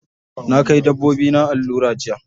Na kai dabbobina allura jiya.